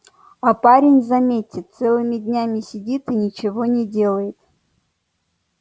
а парень заметьте целыми днями сидит и ничего не делает